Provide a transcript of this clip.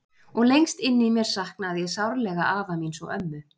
Og lengst inni í mér saknaði ég sárlega afa míns og ömmu.